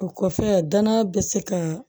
O kɔfɛ danaya bɛ se ka